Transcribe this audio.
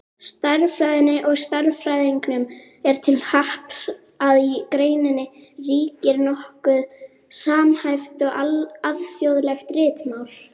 Stærðfræðinni og stærðfræðingum er til happs að í greininni ríkir nokkuð samhæft, alþjóðlegt ritmál.